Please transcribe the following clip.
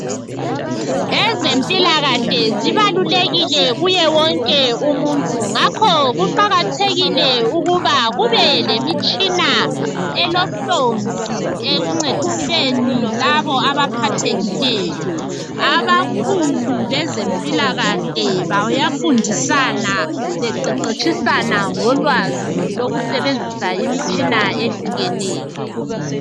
Ezempilakahle zibalulekile kuye wonke umuntu. Ngakho kuqakathekile ukuba kubelemtshina elohlonzi ekuncediseni abaphathekileyo. Abakhulu bezempilakahle bayafundisana beqeqetshisana ngolwazi lokusebenzisa imitshina eyehlukeneyo.